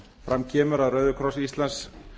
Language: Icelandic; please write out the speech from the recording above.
fram kemur að rauði kross íslands